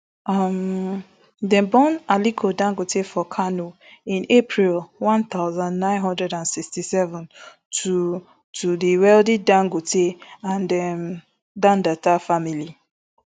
um dem born aliko dangote for kano in april one thousand, nine hundred and sixty-seven to to di wealthy dangote and um dantata family